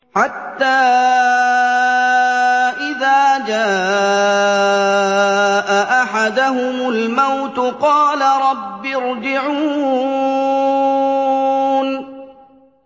حَتَّىٰ إِذَا جَاءَ أَحَدَهُمُ الْمَوْتُ قَالَ رَبِّ ارْجِعُونِ